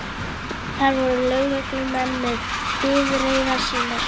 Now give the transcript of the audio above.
Þar voru lögreglumenn með bifreiðar sínar.